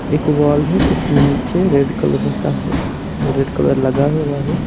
एक वॉल है जिसमे नीचे रेड कलर का है रेड कलर लगा हुआ है।